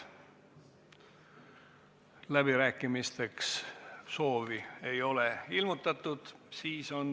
Läbirääkimisteks ei ole soovi ilmutatud.